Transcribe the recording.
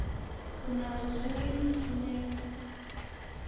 unazo zoke iimfuneko